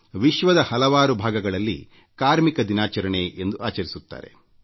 ವಿಶ್ವದ ಹಲವಾರು ಭಾಗಗಳಲ್ಲಿ ಕಾರ್ಮಿಕ ದಿನಾಚರಣೆ ಎಂದು ಆಚರಿಸುತ್ತಾರೆ